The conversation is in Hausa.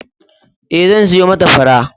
Ee, zan siyo mata fura.